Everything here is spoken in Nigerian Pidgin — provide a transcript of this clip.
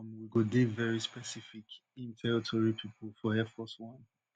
um we go dey veri specific in tell tori pipo for air force one